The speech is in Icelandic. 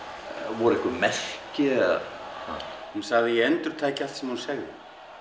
voru einhver merki eða hún sagði að ég endurtæki allt sem hún sagði